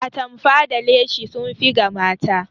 Atamfa da leshi sun fi ga mata